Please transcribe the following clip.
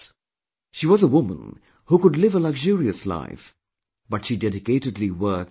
She was a woman who could live a luxurious life but she dedicatedly worked for the poor